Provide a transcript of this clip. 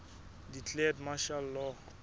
declared martial law